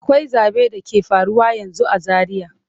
Akwai zabe da ke faruwa yanzu a Zaria.